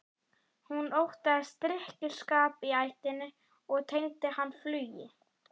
Hún óttaðist drykkjuskap í ættinni og tengdi hann flugi.